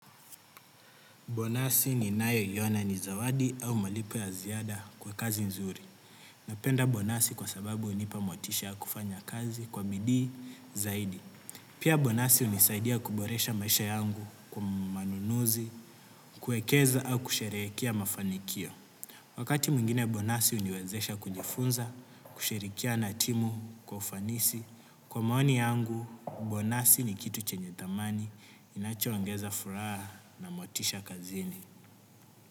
Bonasi ninayo elewa na ni zawadi au malipo ya ziada kwa kazi nzuri. Napenda bonasi kwa sababu hunipa motisha ya kufanya kazi kwa bidii zaidi. Pia bonasi hunisaidia kuboresha maisha yangu kwa manunuzi, kuwekeza au kusherehekea mafanikio. Wakati mwingine bonasi huniwezesha kujifunza kushirikiana na timu kwa ufanisi. Kwa maoni yangu, bonasi ni kitu chenye thamani inacho ongeza furaha na motisha kazini.